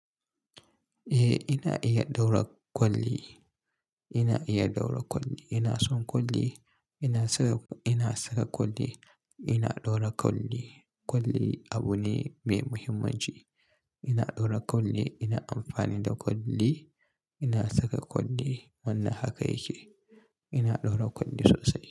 Eh, ina iya ɗaura kwalli. Ina iya ɗaura kwalli. Ina son kwalli. Ina saka, ina saka kwalli. Ina ɗaura kwalli. Kwalli abu ne mai muhimmanci. Ina ɗaura kwalli. Ina amfani da kwalli. Ina saka kwalli. Wannan haka yake. Ina ɗaura kwalli sosai.